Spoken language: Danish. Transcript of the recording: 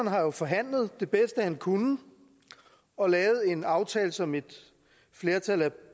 har jo forhandlet det bedste han kunne og lavet en aftale som et flertal af